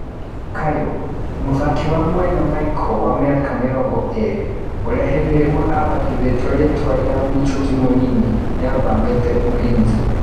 (Kayũ). Mũthaki wa mwena Maiko, wa mĩaka mĩrongo ĩrĩ, ũrĩa hindĩ ĩmwe abatithĩtio rĩtwa rĩa "Michuki mũnini" nĩathamĩte Ulinzi.